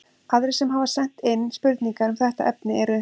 Aðrir sem sent hafa inn spurningar um þetta efni eru: